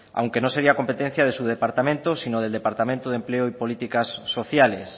aunque no sería competencia de su departamento sino del departamento de empleo y políticas sociales